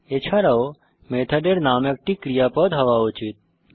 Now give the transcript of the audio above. এছাড়াও মেথডের নাম একটি ক্রিয়াপদ হওয়া উচিত